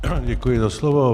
Děkuji za slovo.